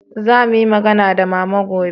za mu yi magana da mama gobe